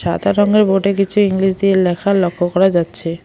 সাদা রঙ্গের বোর্ডে কিছু ইংলিশ দিয়ে লেখা লক্ষ করা যাচ্ছে।